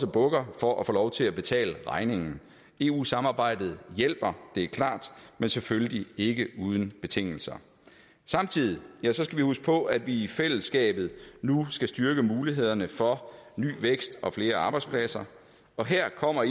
bukker for at få lov til at betale regningen eu samarbejdet hjælper det er klart men selvfølgelig ikke uden betingelser samtidig skal vi huske på at vi i fællesskabet nu skal styrke mulighederne for ny vækst og flere arbejdspladser og her kommer